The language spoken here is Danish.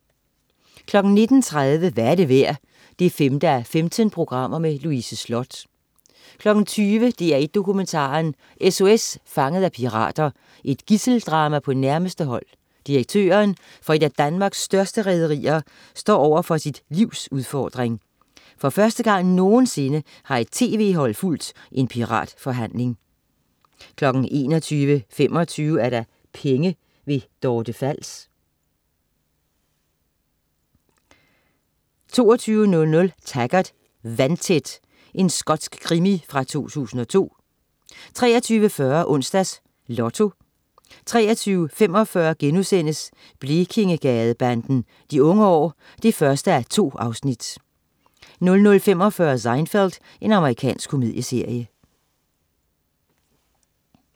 19.30 Hvad er det værd? 5:15. Louise Sloth 20.00 DR1 Dokumentaren: SOS Fanget af pirater. Et gidseldrama på nærmeste hold: Direktøren for et af Danmarks største rederier står over for sit livs udfordring. For første gang nogensinde har et tv-hold fulgt en piratforhandling 21.25 Penge. Dorte Fals 22.00 Taggart: Vandtæt. Skotsk krimi fra 2002 23.40 Onsdags Lotto 23.45 Blekingegadebanden. De Unge År 1:2* 00.45 Seinfeld. Amerikansk komedieserie